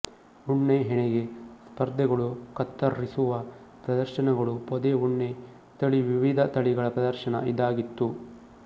ಉಣ್ಣೆ ಹೆಣೆಗೆ ಸ್ಪರ್ಧೆಗಳುಕತ್ತರ್ರಿಸುವ ಪ್ರದರ್ಶನಗಳುಪೊದೆ ಉಣ್ಣೆ ತಳಿವಿವಿಧ ತಳಿಗಳ ಪ್ರದರ್ಶನ ಇದಾಗಿತ್ತು